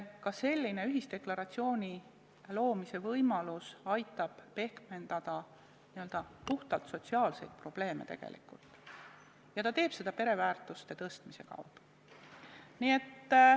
Ka ühisdeklaratsiooni loomise võimalus aitab tegelikult pehmendada n-ö puhtalt sotsiaalseid probleeme ja teeb seda pereväärtuste esiletõstmisega.